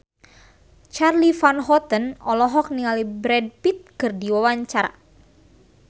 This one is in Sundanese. Charly Van Houten olohok ningali Brad Pitt keur diwawancara